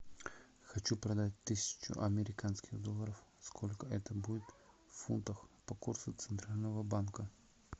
хочу продать тысячу американских долларов сколько это будет в фунтах по курсу центрального банка